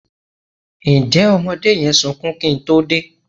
Ǹjẹ́ ọmọdé yẹn sunkún kí n tó dé?